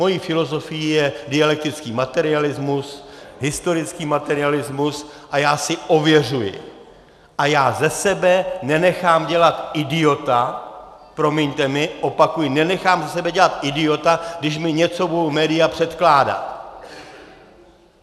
Mojí filozofií je dialektický materialismus, historický materialismus a já si ověřuji a já ze sebe nenechám dělat idiota, promiňte mi, opakuji, nenechám ze sebe dělat idiota, když mi něco budou média předkládat.